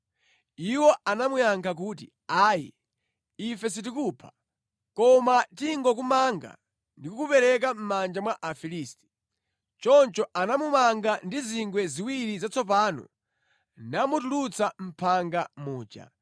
Iwo anamuyankha kuti, “Ayi, ife sitikupha. Koma tingokumanga ndi kukupereka mʼmanja mwa Afilisti.” Choncho anamumanga ndi zingwe ziwiri zatsopano namutulutsa mʼphanga muja.